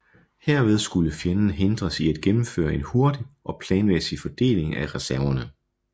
Herved skulle fjenden hindres i at gennemføre en hurtig og planmæssig fordeling af reserverne